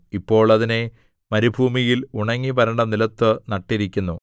ഇപ്പോൾ അതിനെ മരുഭൂമിയിൽ ഉണങ്ങി വരണ്ട നിലത്തു നട്ടിരിക്കുന്നു